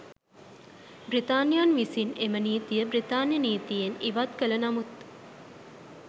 බ්‍රිතාන්‍යයන් විසින් එම නීතිය බ්‍රිතාන්‍ය නීතියෙන් ඉවත් කළ නමුත්